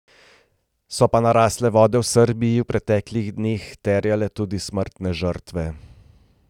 So pa narasle vode v Srbiji v preteklih dneh terjale tudi smrtne žrtve.